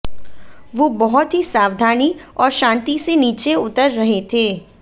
वो बहुत ही सावधानी और शांती से नीचे उतर रहे थे